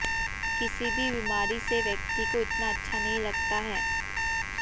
किसी भी बीमारी से व्यक्ति को इतना अच्छा नहीं लगता है